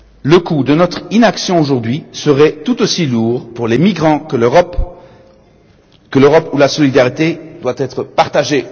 Le coût de notre inaction, aujourd'hui, serait tout aussi lourd pour les migrants que pour l'Europe, où la solidarité doit être partagée.